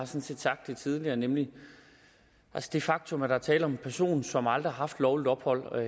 set sagt det tidligere nemlig det faktum at der er tale om en person som aldrig har haft lovligt ophold og